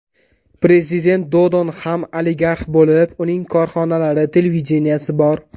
Prezident Dodon ham oligarx bo‘lib, uning korxonalari, televideniyesi bor.